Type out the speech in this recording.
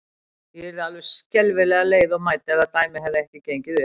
Ég yrði alveg skelfilega leið og mædd, ef það dæmi hefði ekki gengið upp.